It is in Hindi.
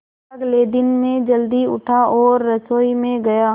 अगले दिन मैं जल्दी उठा और रसोई में गया